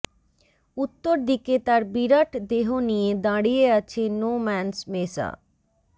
উত্তর দিকে তার বিরাট দেহ নিয়ে দাঁড়িয়ে আছে নো ম্যানস মেসা